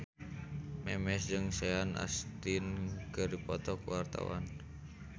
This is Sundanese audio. Memes jeung Sean Astin keur dipoto ku wartawan